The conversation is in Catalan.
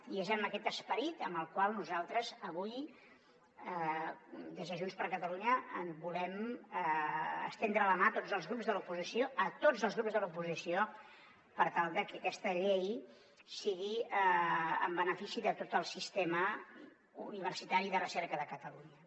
i és amb aquest esperit amb el qual nosaltres avui des de junts per catalunya volem estendre la mà a tots els grups de l’oposició a tots els grups de l’oposició per tal de que aquesta llei sigui en benefici de tot el sistema universitari i de recerca de catalunya